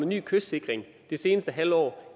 ny kystsikring det seneste halve år